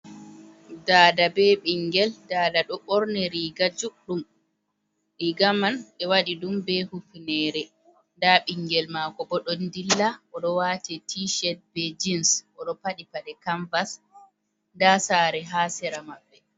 Dada be ɓingel, dada ɗo ɓorni riga juɗɗum, riga man ɓe waɗi be hufinere, nda bingel mako bo ɗo dilla oɗo wati riga tii ched be jins, oɗo paɗi paɗe canvas, nda saare ha sera mai.